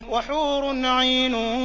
وَحُورٌ عِينٌ